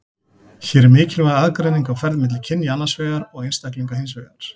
Hér er mikilvæg aðgreining á ferð milli kynja annars vegar og einstaklinga hins vegar.